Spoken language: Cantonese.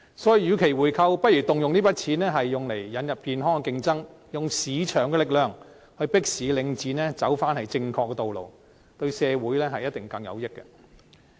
所以，與其回購，不如動用這些金錢引入健康的競爭，利用市場力量迫使領展走回正確的道路，對社會一定更有益處。